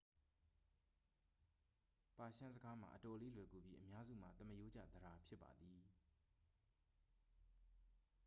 ပါရှန်းစကားမှာ အတော်လေး လွယ်ကူပြီး အများစုမှာ သမားရိုးကျ သဒ္ဒါ ဖြစ်ပါသည်